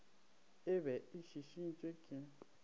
e be e šišintšwe ke